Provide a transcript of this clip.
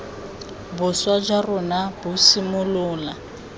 boswa jwa rona bo simolola